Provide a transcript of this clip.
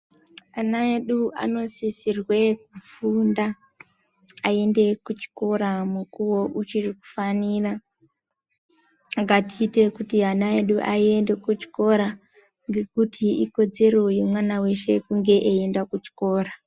Ana edu anosisirwe kufunda aende kuchikora mukuwo uchiri kufanira, ngatiite kuti ana edu aende kuchikora ngekuti ikodzero yemwana weshe kunge eienda kuchikora.